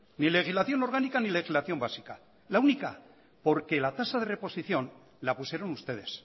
ni legislación orgánica ni legislación básica la única porque la tasa de reposición la pusieron ustedes